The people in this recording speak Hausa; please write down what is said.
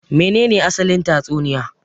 Me ne ne asalin tatsuniya